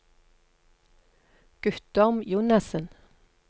Guttorm Jonassen